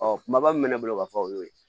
Ɔ kumaba min bɛ ne bolo ka fɔ o y'o ye